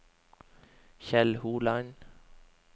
Kjell Holand